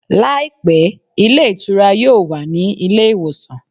Làìpé, ilé ìtura yóò ní ilé ìwòsàn